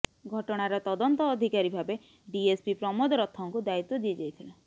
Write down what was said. ଘଟଣାର ତଦନ୍ତ ଅଧିକାରୀ ଭାବେ ଡିଏସପି ପ୍ରମୋଦ ରଥଙ୍କୁ ଦାୟିତ୍ବ ଦିଆଯାଇଥିଲା